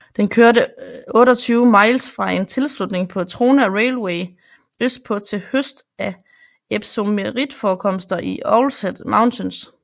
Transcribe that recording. Den kørte 28 miles fra en tilslutning på Trona Railway østpå til høst af epsomitforekomster i Owlshead Mountains